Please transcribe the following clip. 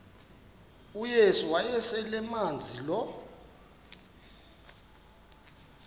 uyesu wayeselemazi lo